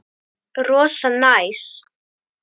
Rosa næs.